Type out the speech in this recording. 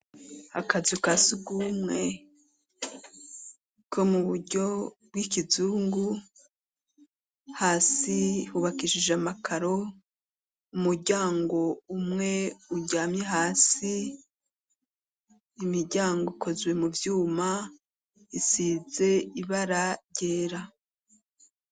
Akazu ka si rumwe ko mu buryo bw'ikizungu hasi hubakishije amakaro umuryango umwe uryame hasi imiryango ikoziwe mu vyuma isize ibarae gera.